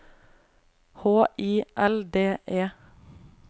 H I L D E